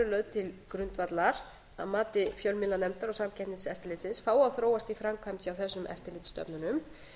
eru lögð til grundvallar að mati fjölmiðlanefndar og samkeppniseftirlitsins fái að þróast í framkvæmd hjá þessum eftirlitsstofnunum